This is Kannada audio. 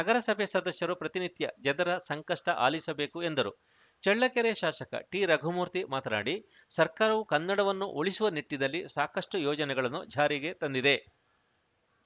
ನಗರಸಭೆ ಸದಸ್ಯರು ಪ್ರತಿನಿತ್ಯ ಜನರ ಸಂಕಷ್ಟಆಲಿಸಬೇಕು ಎಂದರು ಚಳ್ಳಕೆರೆ ಶಾಸಕ ಟಿರಘುಮೂರ್ತಿ ಮಾತನಾಡಿ ಸರ್ಕಾರವು ಕನ್ನಡವನ್ನು ಉಳಿಸುವ ನಿಟ್ಟಿನಲ್ಲಿ ಸಾಕಷ್ಟುಯೋಜನೆಗಳನ್ನು ಜಾರಿಗೆ ತಂದಿದೆ